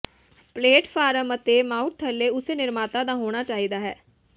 platform ਅਤੇ mount ਥੱਲੇ ਉਸੇ ਨਿਰਮਾਤਾ ਦਾ ਹੋਣਾ ਚਾਹੀਦਾ ਹੈ